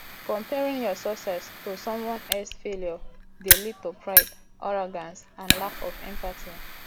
comparing your success to someone else failure dey lead to pride arrogance and lack of empathy